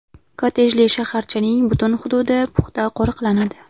Kottejli shaharchaning butun hududi puxta qo‘riqlanadi.